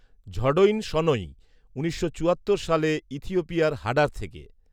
ঝডৈনসনৈ, উনিশশো চুয়াত্তর সালে ইথিওপিয়ার হাডার থেকে